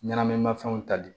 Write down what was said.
Ɲɛnaminimafɛnw ta bi